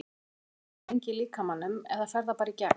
Hvað er tyggjó lengi í líkamanum eða fer það bara í gegn?